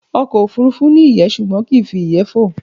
Ọkọ̀ òfurufú ni iyé ṣùgbọ́n kii fi iyẹ́ fó